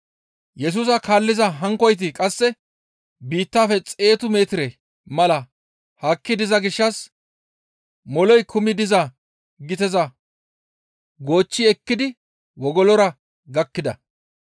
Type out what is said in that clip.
Yesusa kaalliza hankkoyti qasse biittafe xeetu metire mala haakki diza gishshas moley kumi diza giteza goochchi ekkidi wogolora gakkida.